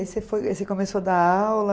E aí você foi aí você começou a dar aula?